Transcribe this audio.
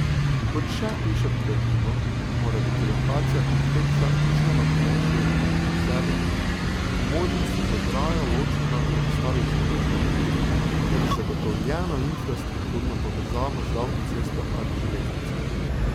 Kot še piše v gradivu, mora biti lokacija kompleksa izven območij urbanih naselij, po možnosti z ograjo ločena od ostalih zemljišč ter z zagotovljeno infrastrukturno povezavo z avtocesto ali železnico.